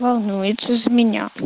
волнуется за меня